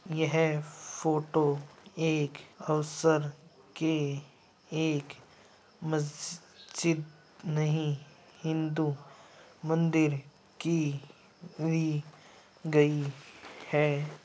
यह फोटो एक अवसर के एक मस्जिद नहीं हिंदू मंदिर की ली गयी है ।